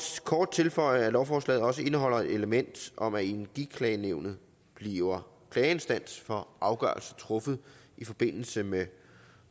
kort tilføje at lovforslaget også indeholder et element om at energiklagenævnet bliver klageinstans for afgørelser truffet i forbindelse med